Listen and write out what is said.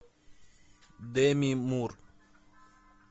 деми мур